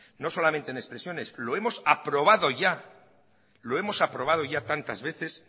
no solamente en expresiones lo hemos aprobado ya lo hemos aprobado ya tantas veces